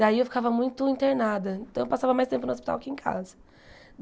Daí eu ficava muito internada, então eu passava mais tempo no hospital que em casa.